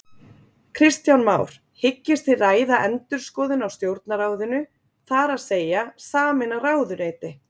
Kristján Már: Hyggist þið ræða endurskoðun á Stjórnarráðinu, þar að segja sameina ráðuneyti?